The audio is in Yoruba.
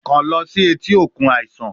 Kan lọ si eti okun aisan